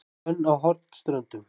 Hvönn á Hornströndum